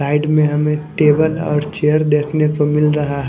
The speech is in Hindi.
साइड में हमें टेबल और चेयर देखने को मिल रहा--